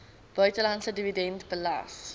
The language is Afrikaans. buitelandse dividend belas